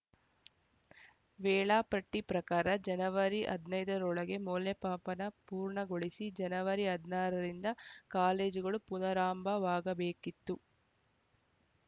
ವೇಳಾಪಟ್ಟಿಪ್ರಕಾರ ಜನವರಿ ಹದಿನೈದ ರೊಳಗೆ ಮೌಲ್ಯಪಾಪನ ಪೂರ್ಣಗೊಳಿಸಿ ಜನವರಿ ಹದಿನಾರರಿಂದ ಕಾಲೇಜುಗಳು ಪುನಾರಂಭವಾಗಬೇಕಿತ್ತು